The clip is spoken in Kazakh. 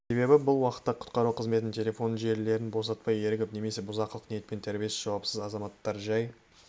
себебі бұл уақытта құтқару қызметінің телефон желілерін босатпай ерігіп немесе бұзақылық ниетпен тәрбиесіз жауапсыз азаматтар жай